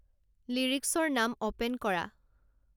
লিৰিক্চৰ নাম ওপেন কৰা